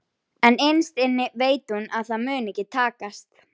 En innst inni veit hún að það mun ekki takast.